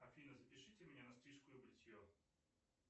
афина запишите меня на стрижку и бритье